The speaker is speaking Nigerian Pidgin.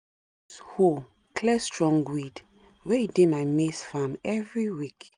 hoe clear strong weed wey e dey my maize farm evryweek